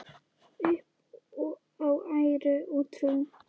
Upp á æru og trú.